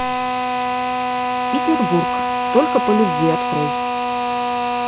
петербург только по любви открой